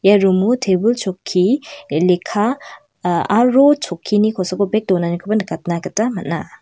ia rum o tebil chokki lekka aro chokkini kosako bek donanikoba nikatna gita man·a.